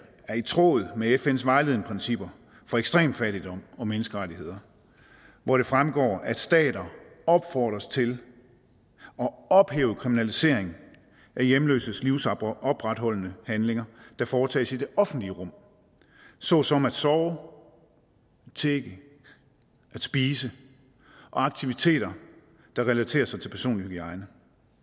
er i tråd med fns vejledende principper for ekstrem fattigdom og menneskerettigheder hvor det fremgår at stater opfordres til at ophæve kriminalisering af hjemløses livsopretholdende handlinger der foretages i det offentlige rum såsom at sove tigge spise og aktiviteter der relaterer sig til personlig hygiejne